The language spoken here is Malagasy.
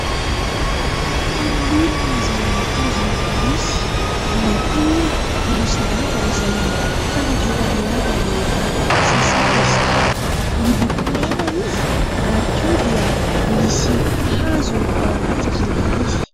Tanan'olona izay mitazona borosy na koa hoe borosin-damba izay fanadiovana lamba rehefa sasana izy ity, miloko mena izy ary koa dia misy hazo ao ambadik'ilay izy.